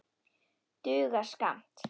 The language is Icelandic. Dugar skammt.